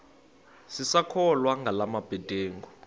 sisakholwa ngala mabedengu